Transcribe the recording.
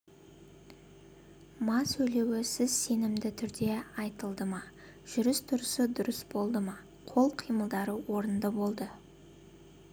ма сөйлеуі сөз сенімді түрде айтылды ма жүрістұрысы дұрыс болды ма қол қимылдары орынды болды